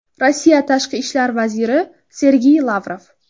Rossiya Tashqi ishlar vaziri Sergey Lavrov.